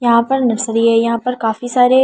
यहां पर नसरी है यहां पर काफी सारे --